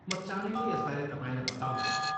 म चाँडै नै यसबारे तपाईँलाई बताउनेछु।